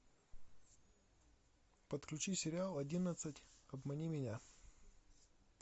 подключи сериал одиннадцать обмани меня